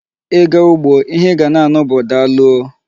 Ị ga ugbo, ihe ị ga na-anụ bụ daalụ oo.